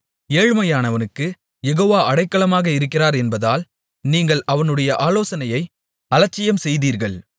ஏழ்மையானவனுக்குக் யெகோவா அடைக்கலமாக இருக்கிறார் என்பதால் நீங்கள் அவனுடைய ஆலோசனையை அலட்சியம்செய்தீர்கள்